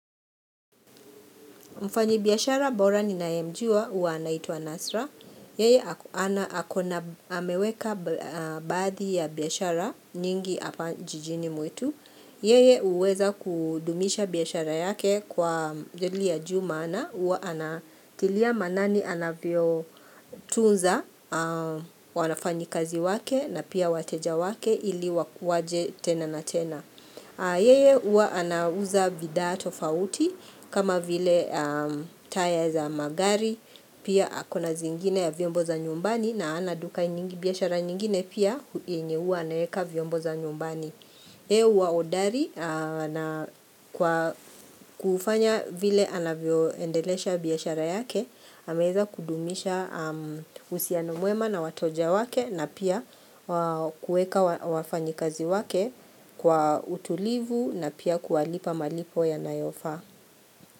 Mfanyi biashara bora ninayemjua huwa anaitwa Nasra. Yeye ana akona ameweka ba baadhi ya biashara nyingi hapa jijini mwetu. Yeye huweza kudumisha biashara yake kwa jadili ya juu maana huwa anatilia maanani anavyo tunza wanafanyi kazi wake na pia wateja wake ili waje tena na tena. Yeye huwa anauza bidhaa tofauti kama vile taya za magari pia akona zingine ya vyombo za nyumbani na ana duka biashara nyingine pia yenye huwa anaweka vyombo za nyumbani Yeye huwa hodari na kwa kufanya vile anavyoendelesha biashara yake, ameweza kudumisha uhusiano mwema na wateja wake na pia kuweka wafanyakazi wake kwa utulivu na pia kuwalipa malipo yanayofaa.